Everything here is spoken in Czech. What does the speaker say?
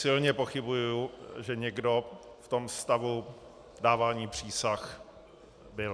Silně pochybuji, že někdo v tom stavu dávání přísah byl.